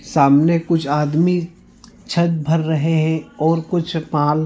सामने कुछ आदमी छत भर रहे है और कुछ पाल--